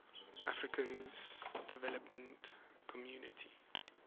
african development community